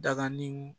Daganiw